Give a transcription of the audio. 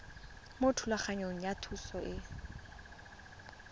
mo thulaganyong ya thuso y